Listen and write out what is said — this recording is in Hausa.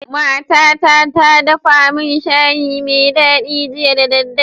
Mata ta ta dafa min shayi me dadi jiya da dare